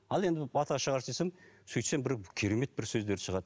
ал енді бата шығаршы десем сөйтсем бір керемет бір сөздер шығады